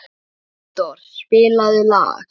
Unndór, spilaðu lag.